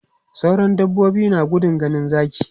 Sauran dabbobi na gudun ganin zaki.